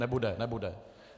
Nebude, nebude.